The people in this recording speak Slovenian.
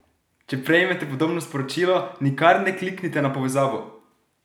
Če prejmete podobno sporočilo, nikar ne kliknite na povezavo!